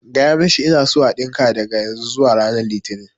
Ka gaya mishi ina so a ɗinka daga yanzu zuwa ran litini